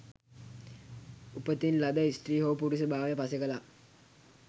උපතින් ලද ස්ත්‍රී හෝ පුරුෂ භාවය පසෙක ලා